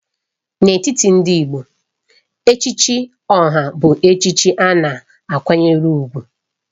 N'etiti ndị Igbo, Echichi Oha bụ echichi a na-akwanyere ùgwù